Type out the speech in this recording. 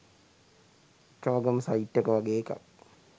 චෝගම් site එක වගේ එකක්